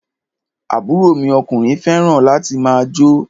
Àbúrò mi ọkùnrin fẹràn láti máà jó.